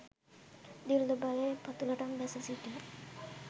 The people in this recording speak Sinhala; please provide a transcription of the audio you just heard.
දිළිඳු බවේ පතුළටම බැස සිටින